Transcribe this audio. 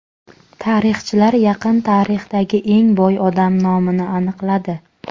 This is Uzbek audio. Tarixchilar yaqin tarixdagi eng boy odam nomini aniqladi.